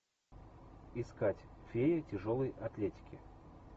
искать фея тяжелой атлетики